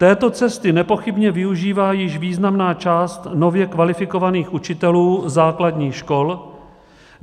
Této cesty nepochybně využívá již významná část nově kvalifikovaných učitelů základní škol.